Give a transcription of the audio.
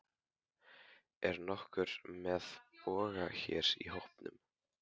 Er nokkur með boga hér í hópnum?